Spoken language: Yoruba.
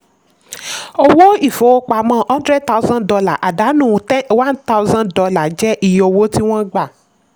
owó ìfowópamọ́ hundred thousand dollar àdánù one thousand dollar jẹ́ iye owó tí wọ́n gbà.